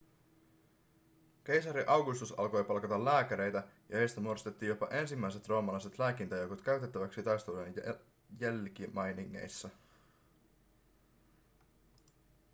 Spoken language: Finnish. keisari augustus alkoi palkata lääkäreitä ja heistä muodostettiin jopa ensimmäiset roomalaiset lääkintäjoukot käytettäväksi taistelujen jälkimainingeissa